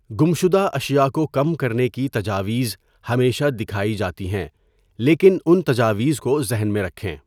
گمشدہ اشیاء کو کم کرنے کی تجاویز ہمیشہ دکھائی جاتی ہیں، لیکن ان تجاویز کو ذہن میں رکھیں۔